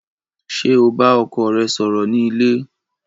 Ṣé o bá ọkọ rẹ sọ̀rọ̀ ni ilé?